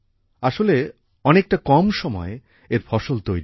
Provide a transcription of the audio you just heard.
আসলে অনেকটা কম সময়ে এর ফসল তৈরি হয়